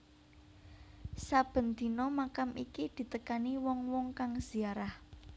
Saben dina makam iki ditekani wong wong kang ziarah